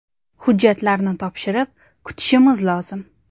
Hujjatlarni topshirib, kutishimiz lozim.